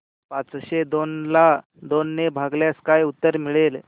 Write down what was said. पाचशे दोन ला दोन ने भागल्यास काय उत्तर मिळेल